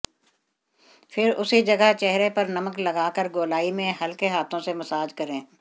फिर उसी जगह चेहरे पर नमक लगा कर गोलाई में हल्के हाथों से मसाज करें